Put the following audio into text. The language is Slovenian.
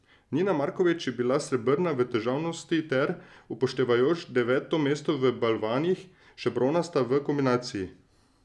Mina Markovič je bila srebrna v težavnosti ter, upoštevajoč deveto mesto v balvanih, še bronasta v kombinaciji.